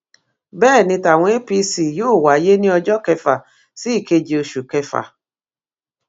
bẹẹ ni tàwọn apc yóò wáyé ní ọjọ kẹfà sí ìkeje oṣù kẹfà